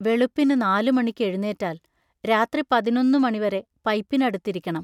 വെളുപ്പിനു നാലുമണിക്ക് എഴുന്നേറ്റാൽ രാത്രി പതിനൊന്നു മണി വരെ പൈപ്പിനടുത്തിരിക്കണം.